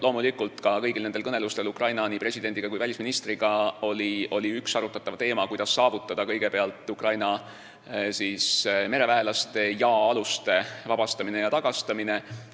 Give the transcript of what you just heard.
Loomulikult oli kõnelustel Ukraina presidendi ja välisministriga üks arutatav teema, kuidas saavutada kõigepealt Ukraina mereväelaste ja aluste vabastamine ja tagastamine.